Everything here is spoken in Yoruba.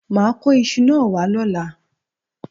Mà á kó isu náà wá lọ́la